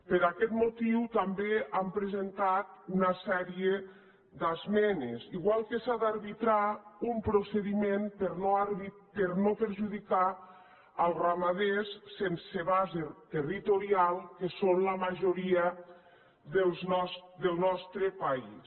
per aquest motiu també s’hi han presentat una sèrie d’esmenes igual que s’ha d’arbitrar un procediment per no perjudicar els ramaders sense base territorial que són la majoria del nostre país